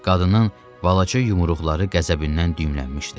Qadının balaca yumruqları qəzəbindən düyümlənmişdi.